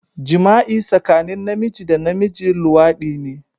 Jima'i tsakanin Namiji da Namiji, Luwadi ne